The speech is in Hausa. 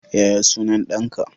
Yaya sunan ɗanka?